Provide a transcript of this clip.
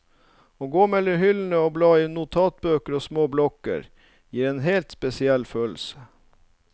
Å gå mellom hyllene og bla i notatbøker og små blokker, gir en helt spesiell følelse.